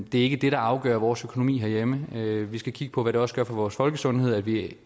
det er ikke det der afgør vores økonomi herhjemme vi skal kigge på hvad det også gør for vores folkesundhed vi